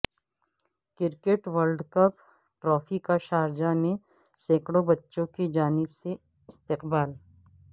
cricket world cup trophy کا Sharjah میں سینکڑوں بچوں کی جانب سے استقبال